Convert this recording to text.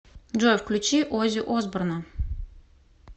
джой включи ози осборна